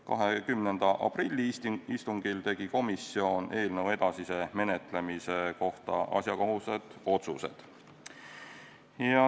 20. aprilli istungil tegi komisjon eelnõu edasise menetlemise kohta asjakohased otsused.